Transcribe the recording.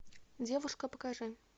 девушка покажи